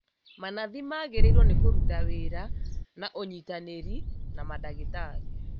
Manathi magĩrĩirwo nĩ kũruta wĩra na ũnyitanĩri na mandagĩtarĩ